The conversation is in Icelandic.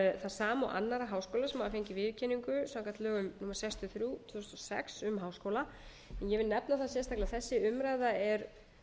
það sama og annarra háskóla sem hafa fengið viðurkenningu samkvæmt lögum númer sextíu og þrjú tvö þúsund og sex um háskóla en ég vil nefna það sérstaklega að þessi umræða er